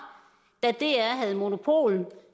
da dr havde monopol